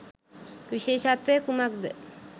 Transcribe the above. විශේෂත්වය කුමක්ද?